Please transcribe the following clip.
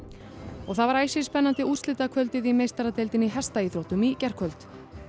og það var æsispennandi úrslitakvöldið í meistaradeildinni í hestaíþróttum í gærkvöld